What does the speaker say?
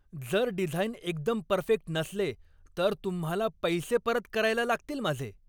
जर डिझाईन एकदम परफेक्ट नसले तर तुम्हाला पैसे परत करायला लागतील माझे.